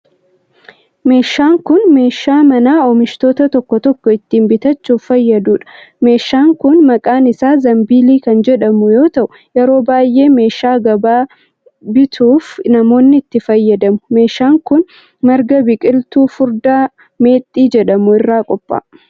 Meeshaan kun, meeshaa manaa oomishoota tokko tokko ittiin baachuuf fayyaduu dha. Meeshaan kun maqaan isaa zanbiilii kan jedhamu yoo ta'u, yeroo baay'ee meeshaa gabaa bituuf namoonni itti fayyadamu. Meeshaan kun, marga biqiltuu furdaa meexxii jedhamu irraa qopha'a.